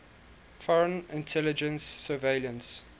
foreign intelligence surveillance